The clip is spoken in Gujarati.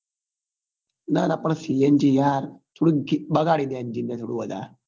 ના ના પણ cng યાર થોડી બગાડી દે engine થોડું વધાર